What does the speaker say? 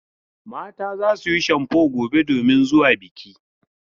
Mata za su yi shamfo gobe domin zuwa biki.